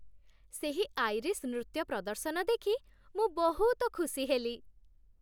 ସେହି ଆଇରିଶ୍ ନୃତ୍ୟ ପ୍ରଦର୍ଶନ ଦେଖି ମୁଁ ବହୁତ ଖୁସି ହେଲି।